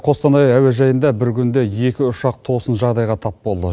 қостанай әуежайында бір күнде екі ұшақ тосын жағдайға тап болды